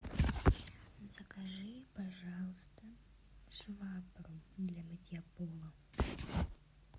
закажи пожалуйста швабру для мытья пола